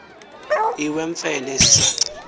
iwewfene esi saci